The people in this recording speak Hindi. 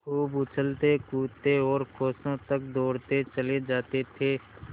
खूब उछलतेकूदते और कोसों तक दौड़ते चले जाते थे